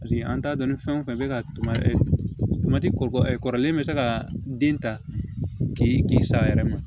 Paseke an t'a dɔn ni fɛn fɛn bɛ ka kɔrɔlen bɛ se ka den ta k'i k'i sa a yɛrɛ ma